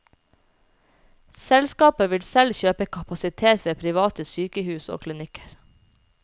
Selskapet vil selv kjøpe kapasitet ved private sykehus og klinikker.